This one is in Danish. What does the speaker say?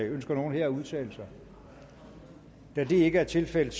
ønsker nogen at udtale sig da det ikke er tilfældet